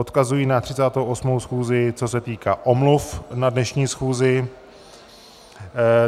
Odkazuji na 38. schůzi co se týká omluv na dnešní schůzi.